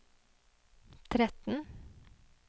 tretten